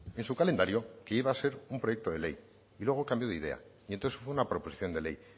en su calendario que iba a ser un proyecto de ley y luego cambió de idea y entonces fue una proposición de ley